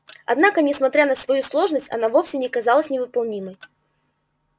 однако несмотря на свою сложность она вовсе не казалась невыполнимой